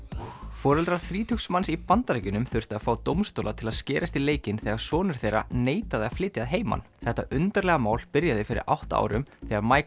foreldrar þrítugs manns í Bandaríkjunum þurftu að fá dómstóla til að skerast í leikinn þegar sonur þeirra neitaði að flytja að heiman þetta undarlega mál byrjaði fyrir átta árum þegar